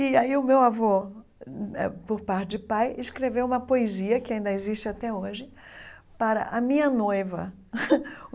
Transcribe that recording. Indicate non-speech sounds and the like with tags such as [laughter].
E aí o meu avô, hum eh por parte de pai, escreveu uma poesia, que ainda existe até hoje, para a minha noiva. [laughs]